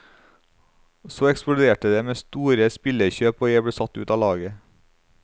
Så eksploderte det med store spillerkjøp og jeg ble satt ut av laget.